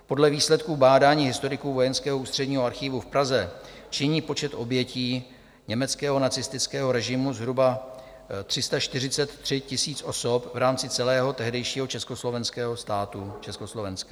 Podle výsledků bádání historiků Vojenského ústředního archívu v Praze činí počet obětí německého nacistického režimu zhruba 343 000 osob v rámci celého tehdejšího československého státu, Československa.